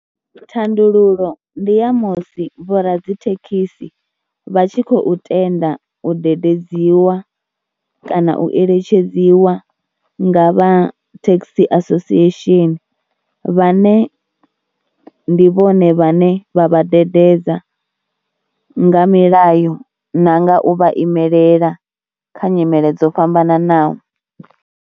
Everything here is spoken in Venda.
Thandululo ndi ya musi vhoradzithekhisi vha tshi khou tenda u dededziwa kana u eletshedziwa nga vha taxi association vhane ndi vhone vhane vha vhadededzi nga milayo na nga u vha imelela kha nyimele dzo fhambananaho.